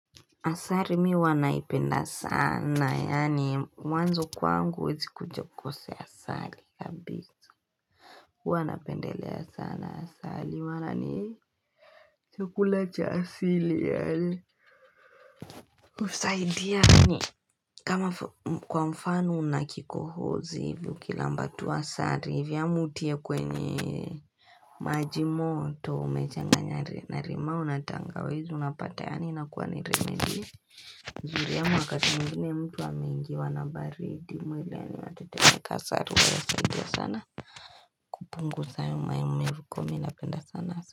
Asari mi huwanaipenda sana yaani mwanzo kwangu huwezi kuja ukose asali ya bi sikuwa napendelea sana asari wana ni chakula cha asili yae usaidia yaani kama kwamfano unakikohozi hivyo kilambatu asari hivyo amu utie kwenye Majimoto umechanga nyari na rima unatanga wezi unapata yaani nakuwa ni remedi zuri ya mwakati mgini mtu wa mingi wanabaridi mweli ya ni wateteka sari wa ya saidi ya sana Kupunuza sayuma ya mmevuko minapenda sana.